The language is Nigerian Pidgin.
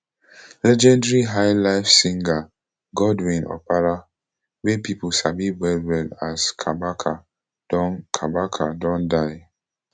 legendary highlife singer godwin opara wey pipo sabi wellwell as kabaka don kabaka don die